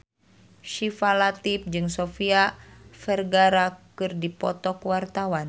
Syifa Latief jeung Sofia Vergara keur dipoto ku wartawan